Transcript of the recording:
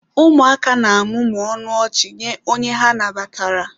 Ụmụaka na-amụmụ ọnụ ọchị nye onye ha nabatara.